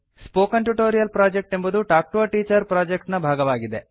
spoken tutorial project ಎಂಬುದು talk to a teacher project ನ ಭಾಗವಾಗಿದೆ